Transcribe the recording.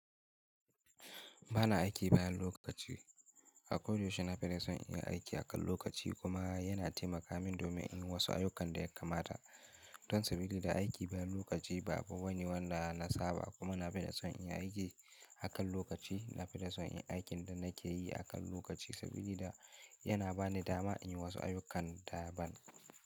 Bana aiki bayan lokaci. Akodayaushe na fita son in yi aiki akan lokaci kuma yana taimaka min domin in yi wasu ayyukan da ya kamata. Don sabili da aiki bayan lokaci ba abu bane wanda na saba kuma na fi son in yi aiki akan lokaci. Na fi son inyi aikin da nake yi akan lokaci sabili da yana ba ni dama in yi wasu ayyukan da ban.